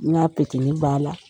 N ga b'a la.